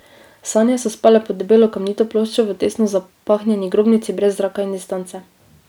Sanje so spale pod debelo kamnito ploščo v tesno zapahnjeni grobnici brez zraka in distance.